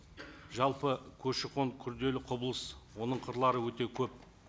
жалпы көші қон күрделі құбылыс оның қырлары өте көп